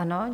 Ano.